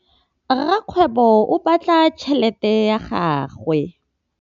Rakgwêbô o bala tšheletê ya gagwe.